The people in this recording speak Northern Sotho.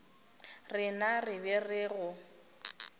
rena re be re go